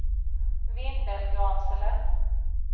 Vindelgransele